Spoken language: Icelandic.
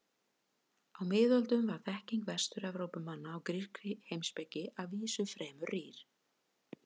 Á miðöldum var þekking Vestur-Evrópumanna á grískri heimspeki að vísu fremur rýr.